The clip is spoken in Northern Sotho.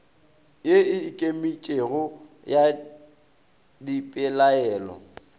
ye e ikemetšego ya dipelaelo